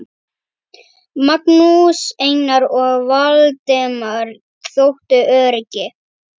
Magnús, Einar og Valdemar þóttu öruggir.